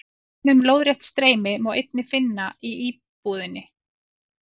Dæmi um lóðrétt streymi má einnig finna í íbúðinni.